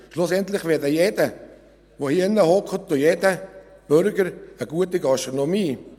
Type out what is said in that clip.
Schlussendlich wäre jeder, der hier sitzt und jeder Bürger ein guter Gastronom.